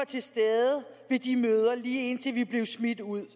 til stede ved de møder lige indtil vi blev smidt ud